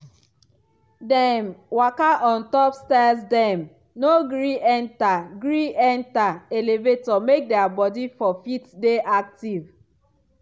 dem waka for on top stairsdem no gree enta gree enta elevator make dia body for fit dey active.